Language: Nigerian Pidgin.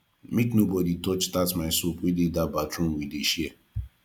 make nobodi touch my soap wey dey dat bathroom we dey share